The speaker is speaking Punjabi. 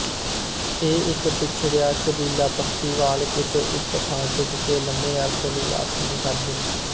ਇਹ ਇੱਕ ਪਛੜਿਆ ਕਬੀਲਾਪੱਖੀਵਾਲ ਕਿਸੇ ਇੱਕ ਥਾਂ ਟਿਕ ਕੇ ਲੰਮੇ ਅਰਸੇ ਲਈ ਵਾਸ ਨਹੀਂ ਕਰਦੇ